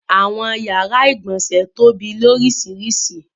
Awọn yara igbọnsẹ̀ tóbi lóriṣiríṣi.